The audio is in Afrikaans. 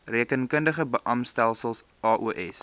rekeningkundige beamptestelsel aos